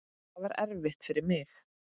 Það var erfitt fyrir mig.